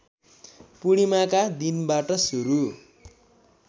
पूर्णिमाका दिनबाट सुरु